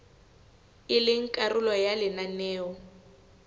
e leng karolo ya lenaneo